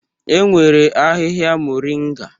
E nwere ahịhịa Moringa.